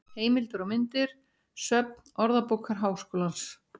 Heimildir og myndir: Söfn Orðabókar Háskólans.